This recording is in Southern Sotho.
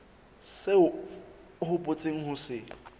seo o hopotseng ho se